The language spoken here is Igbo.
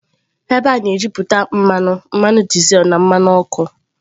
Ebe a na-ejuputa mmanụ, mmanụ dizel na mmanụ ọkụ.